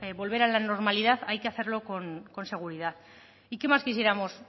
volver a la normalidad hay que hacerlo con seguridad y qué más quisiéramos